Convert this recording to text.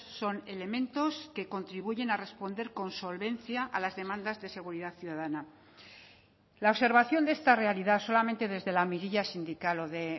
son elementos que contribuyen a responder con solvencia a las demandas de seguridad ciudadana la observación de esta realidad solamente desde la mirilla sindical o de